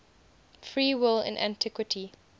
free will in antiquity